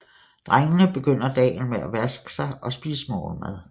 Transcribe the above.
Drengene begynder dagen med at vaske sig og spise morgenmad